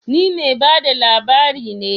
Ni mai ba da labari ne